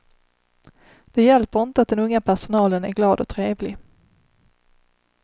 Det hjälper inte att den unga personalen är glad och trevlig.